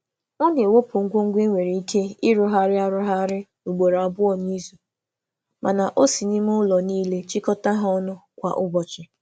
Ọ na-ewepụ ihe a ga-eji rụọ ọzọ ugboro abụọ n’izu, um ma na-anakọta ha kwa ụbọchị n’ime ụlọ niile. um